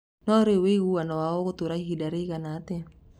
No rĩu rĩ wĩiguano wao ũgũtũra ihinda rĩigana atĩa.